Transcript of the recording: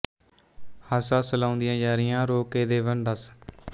ਹੱਸ ਹੱਸ ਲਾਉਂਦੀਆਂ ਯਾਰੀਆਂ ਰੋ ਕੇ ਦੇਵਣ ਦੱਸ